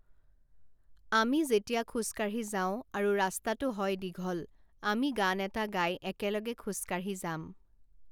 আমি যেতিয়া খোজ কাঢ়ি যাওঁ আৰু ৰাস্তাটো হয় দীঘল, আমি গান এটা গাই একেলগে খোজ কাঢ়ি যাম৷